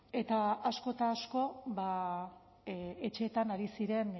eta asko eta asko etxeetan ari ziren